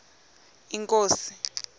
inkosi